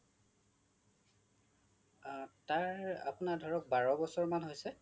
আ তাৰ আপোনাৰ ধৰক বাৰ বছৰ মান হৈছে